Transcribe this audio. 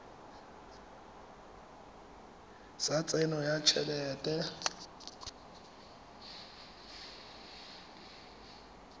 sa tsenyo ya t helete